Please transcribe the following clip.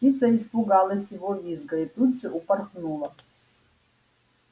птица испугалась его визга и тут же упорхнула